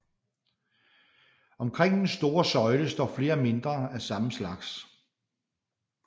Omkring den store søjle står flere mindre af samme slags